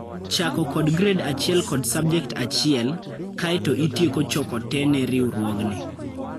Chako kod grade achiel kod subject achiel, kae to itieko choko te ne riuruogni.